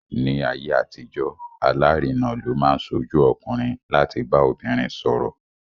Ní ayé àtijọ́, alárinà ló máa ń ṣojú ọkùnrin láti bá obìnrin sọ̀rọ̀.